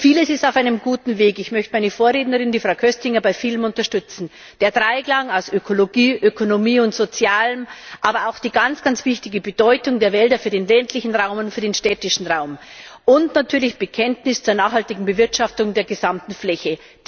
Vieles ist auf einem guten Weg ich möchte meine Vorrednerin, Frau Köstinger, bei vielem unterstützen der Dreiklang aus Ökonomie, Ökologie und Sozialem, aber auch die ganz große Bedeutung der Wälder für den ländlichen Raum und für den städtischen Raum und natürlich das Bekenntnis zur nachhaltigen Bewirtschaftung der gesamten Fläche.